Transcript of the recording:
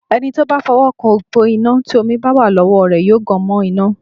Ẹni tí ó bá fọwọ́ kan òpó iná tí omi bá wà lọ́wọ́ rẹ yóò gan mọ́ iná.